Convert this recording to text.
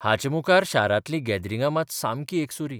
हाचे मुखार शारांतलीं गॅदरिंगां मात सामकी एकसुरी.